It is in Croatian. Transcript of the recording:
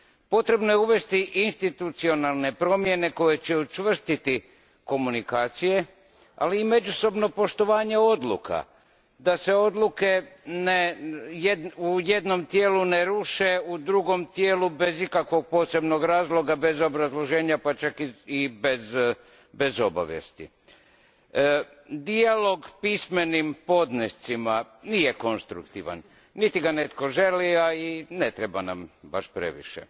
Potrebno je uvesti institucionalne promjene koje će učvrstiti komunikacije, ali i međusobno poštovanje odluka, da se odluke u jednom tijelu ne ruše, u drugom tijelu bez ikakvog posebnog razloga, bez obrazloženja pa čak i bez obavijesti. Dijalog pismenim podnescima nije konstruktivan, niti ga netko želi, a ni ne treba nam baš previše.